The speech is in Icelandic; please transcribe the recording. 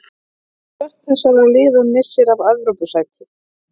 Hvert þessara liða missir af Evrópusæti?